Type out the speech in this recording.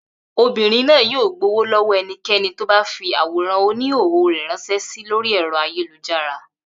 Obìnrin náà yóò gbowó lọ́wọ́ ẹnikẹ́ni tó bá fi àwòrán oníhòòhò rẹ̀ ránṣẹ́ sí lórí ẹ̀rọ ayélujára